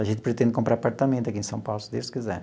A gente pretende comprar apartamento aqui em São Paulo, se Deus quiser.